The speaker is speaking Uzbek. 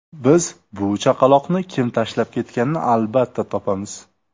Biz bu chaqaloqni kim tashlab ketganini albatta topamiz.